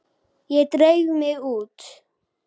Ég dreif mig út.